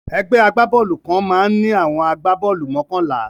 Ẹgbẹ́ agbá-bọ́ọ́lù kan máa ń ní àwọn agbá-bọ́ọ́lù mọ́kànlá.